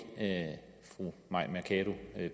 fru mai mercado